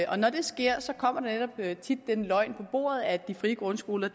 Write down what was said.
og når det sker kommer der netop tit den løgn på bordet at de frie grundskoler